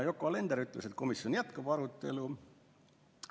Yoko Alender ütles, et komisjon jätkab arutelu.